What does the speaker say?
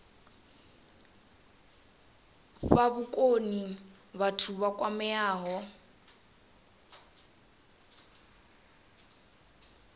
fha vhukoni vhathu vha kwameaho